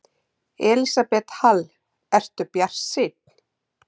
Elísabet Hall: Ertu bjartsýnn?